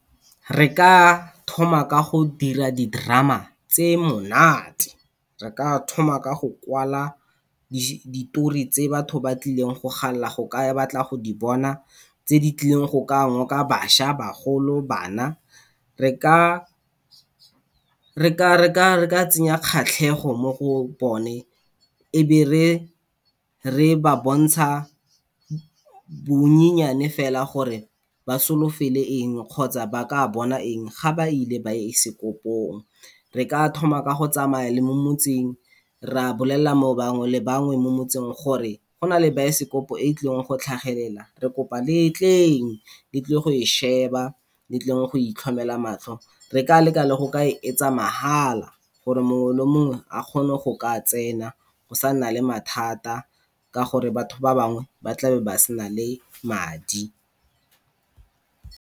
Re ka thoma ka go dira di-drama tse monate. Re ka thoma ka go kwala ditori tse batho ba tlileng go galela go ka batla go di bona, tse di tlileng go ka ngoka bašwa, bagolo, bana. re ka tsenya kgatlhego mo go bone, e be re ba bontsha bonnyenyane fela gore ba solofele eng, kgotsa ba ka bona eng ga ba ile baesekopong. Re ka thoma ka go tsamaya le mo motseng, ra bolelela bangwe le bangwe mo motseng gore go na le baesekopo e tlileng go tlhagelela, re kopa le tleng le tlile go e sheba, le tleng go itlhomela matlho. Re ka leka le go ka e etsa mahala gore mongwe le mongwe a kgone go ka tsena, go sa nna le mathata, ka gore batho ba bangwe ba tla be ba sena le madi.